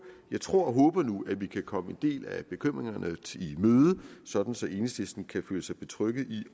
jeg tror og håber nu at vi kan komme en del af bekymringerne i møde sådan så enhedslisten kan føle sig betrygget ved